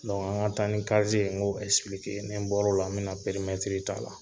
Donku an ka taa ni kaze n k'o ni n kɛ n bɔr'o la , n bɛna pɛrimɛtiri ta la